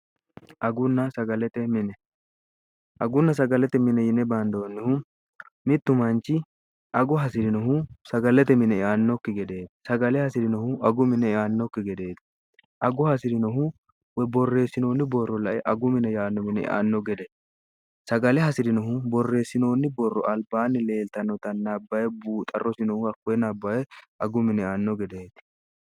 agunna sagalete mine yine baandoonnihu mittu manchi ago hasi'rinohu sagalete mine iaannokki gedeeti sagale hasi'rinohu agu mine iannokki gedeeti ago hasi'rinohu wey borreessinoonni borro lae agu mine yaanno mine ianno gede sagale hasi'rinohu borreessinoonni borro albaanni leeltanota nabbae buuxa rosinohu hakkoye naabbaye agu mine anno gedeeeti